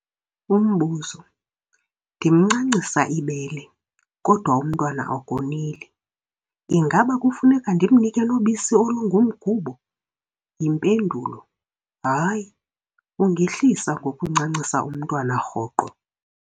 Umbuzo- Ndimncancisa ibele, kodwa umntwana akoneli. Ingaba kufuneka ndimnike nobisi olungumgubo? Impendulo- Hayi, ungehlisa ngokuncancisa umntwana rhoqo.